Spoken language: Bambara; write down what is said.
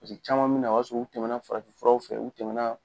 caman bi na o y'a sɔrɔ u tɛmɛna farafinfuraw fɛ u tɛmɛna